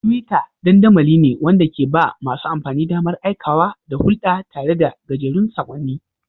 Twitter dandamali ne wanda ke ba masu amfani damar aikawa da hulɗa tare da gajerun saƙonni.